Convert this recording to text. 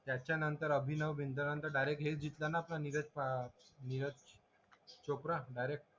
त्याच्यानंतर आपण अभिनव बिंजलांचा डायरेक्ट हेच जिंतला ना निलेश नीरज चोपडा